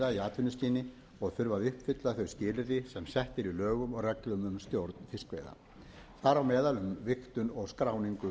atvinnuskyni og þurfa að uppfylla þau skilyrði sem sett eru í lögum og reglum um stjórn fiskveiða þar á meðal um vigtun og skráningu